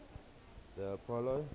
the apollo